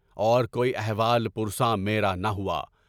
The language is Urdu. اور کوئی احوال پرساں میر انہ ہوا۔